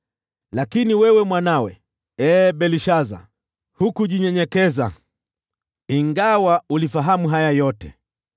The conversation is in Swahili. “Lakini wewe mwanawe, ee Belshaza, hukujinyenyekeza, ingawa ulifahamu haya yote.